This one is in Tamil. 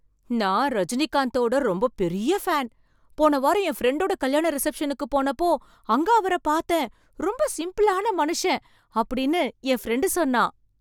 "நான் ரஜினிகாந்த்தோட ரொம்ப பெரிய்ய ஃபேன். போன வாரம் என் ஃபிரண்டோட கல்யாண ரிசப்ஷனுக்கு போனப்போ அங்க அவரப் பார்த்தேன், ரொம்ப சிம்பிளான மனுஷன்." அப்படின்னு என் ஃபிரண்டு சொன்னான்.